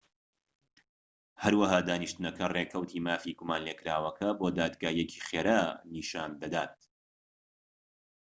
هەروەها دانیشتنەکە ڕێکەوتی مافی گومانلێکراوەکە بۆ دادگاییەکی خێرا نیشان دەکات